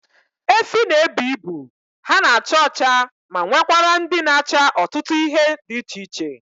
Efi na ebu ibu, ha na acha ọcha ma nwekwara ndị na acha ọtụtụ ihe dị iche iche